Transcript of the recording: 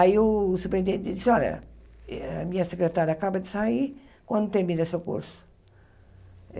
Aí o superintendente disse, olha, eh a minha secretária acaba de sair, quando termina o seu curso?